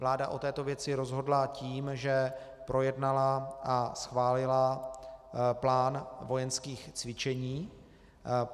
Vláda o této věci rozhodla tím, že projednala a schválila plán vojenských cvičení.